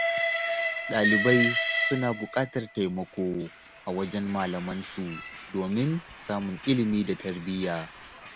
Ɗalibai suna buƙatar taimako a wajen malamansu domin samun ilimi da tarbiyya.